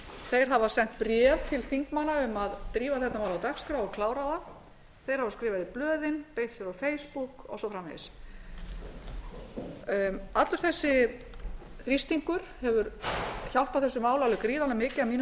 þeir hafa sent bréf til þingmanna um að drífa þetta mál á dagskrá og klára það þeir hafa skrifað í blöðin beitt sér á facebook og svo framvegis allur þessi þrýstingur hefur hjálpað þessu máli alveg gríðarlega mikið að mínu